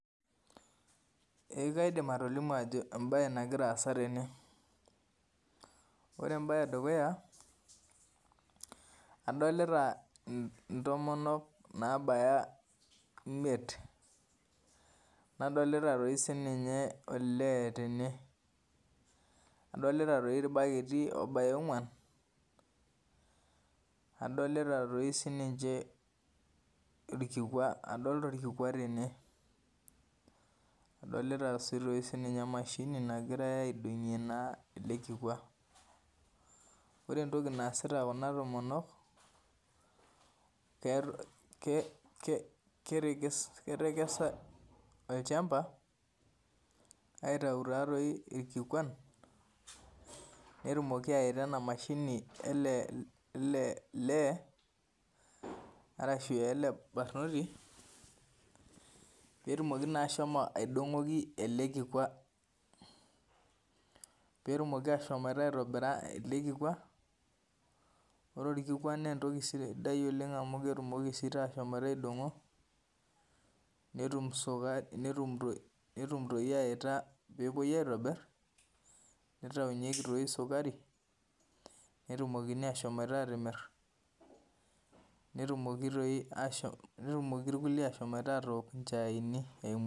Eeh kaidim atolimu ajo embaye nagiraasa tene. Ore embaye edukuya adolita [mh] intomonok naabaya imiet, nadolita toi sininye olee tene. Adolita toi ilbaketi oobaya ong'uan, adolita toi sininche ilkikwa, adolita olkikwa tene. Adolita sii toi sininye emashini nagirai aidong'ie naa ele kikwa. Ore entoki naasita kuna tomonok, [ke ke] ketekesa olchamba aitau taatoi ilkikwan netumoki aaita ena mashinini elee ele lee arashu ele barnoti peetumoki naashomo aidong'oki ele kikwa. Peetumoki ashomoita aitobira ele kikwa. Ore olkikwa neentoki sidai oleng' amu ketumoki siitaa ashomoita aidong'o netum sukari, netum ntoki netumoki aita peepuoi aitobirr neitaunyeki toi sukari netumokini ashomoita atimirr, netumoki toi ashom netumoki irkulie ashom atook inchaaini eimu.